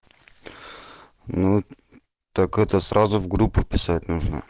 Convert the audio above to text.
ну так это сразу в группу писать нужно